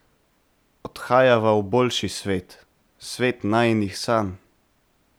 Odhajava v boljši svet, svet najinih sanj.